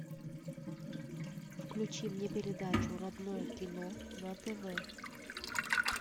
включи мне передачу родное кино на тв